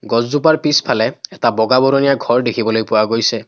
গছজোপাৰ পিছফালে এটা বগা বৰণীয়া ঘৰ দেখিবলৈ পোৱা গৈছে।